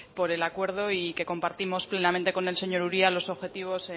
por el acuerdo y que compartimos plenamente con el señor uria los objetivos